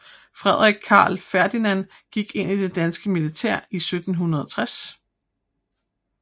Frederik Carl Ferdinand gik ind det danske militær i 1760